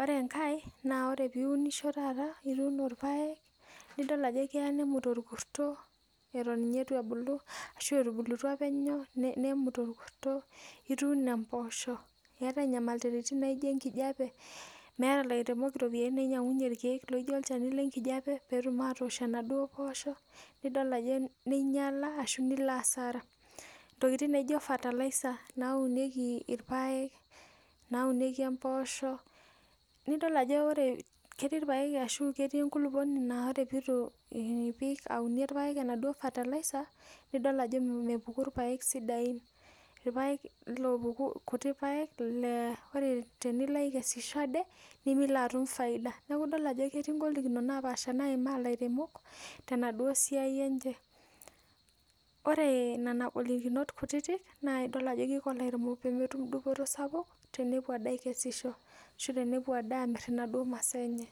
ore enkae na ore piunisho taata nitum irpaek nidol ajo keya nemut orkusto atan etubulutua penyo nemut orkurto, ituuno mpoosho keetai nyamalitin naijo enkijape nemeeta lairemok ropiyani nainyanguyie rkiek lijo olchani lenkijape petum atoosh enaduo poosho nidol ajo ninyala ashu nilo asara ntokitin naijo fertiliser naunieki irpaek naunieki empoosho nidok ajobketii irpaek ashu enkulukuoni na ore pituipik aunie irpaek enaduo fertiliser nidol ajo mepukubirpaek sidain kuti paek na ore tenilo akesisho aje nitum enkitifaida yiolo ajo ketii ngolikinot napaasha naimaa lairemok tenaduo esiaia enye pemetum dupoto sapuk nepuo ade akesishho ashu tenepuo amir naduo masaa enye.